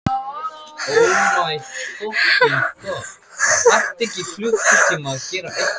Hvernig er stemmningin hjá Sindra þessa dagana?